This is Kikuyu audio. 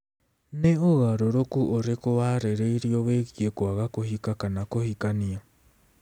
Nĩ ũgarũrũku ũrĩkũ warĩrĩirio wĩgiĩ kwaga kũhika kana kũhikania?